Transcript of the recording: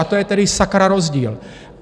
A to je tedy sakra rozdíl!